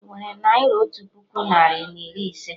Inwere naira otu puku narị na iri ise?